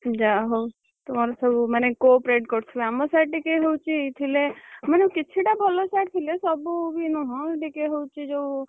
ଯାହାହଉ ତମର ସବୁ ମାନେ corporate କରୁଥିବେ ଆମ sir ଟିକେହଉଛି ଥିଲେ ମାନେ କିଛିଟା ଭଲ sir ଥିଲେ ସବୁ ବି ନୁହଁ, ଟିକେ ହଉଛି ଯୋଉ।